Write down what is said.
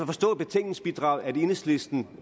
forstå af betænkningsbidraget at enhedslisten